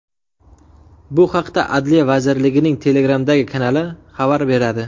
Bu haqda Adliya vazirligining Telegram’dagi kanali xabar beradi .